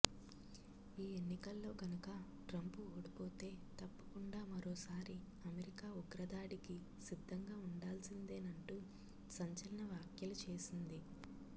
ఈ ఎన్నికల్లో గనుకా ట్రంప్ ఓడిపోతే తప్పకుండా మరో సారి అమెరికా ఉగ్రదాడికి సిద్దంగా ఉండాల్సిందేనంటూ సంచలన వ్యాఖ్యలు చేసింది